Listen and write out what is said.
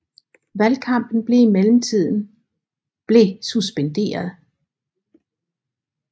Valgkampen blev i mellemtiden blev suspenderet